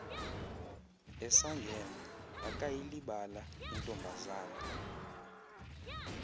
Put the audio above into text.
esangena akayilibala intombazana